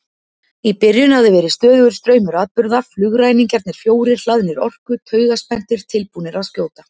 Í byrjun hafði verið stöðugur straumur atburða, flugræningjarnir fjórir hlaðnir orku, taugaspenntir, tilbúnir að skjóta.